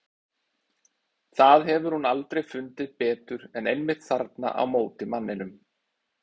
Það hefur hún aldrei fundið betur en einmitt þarna á móti manninum.